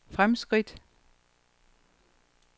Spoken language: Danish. fremskridt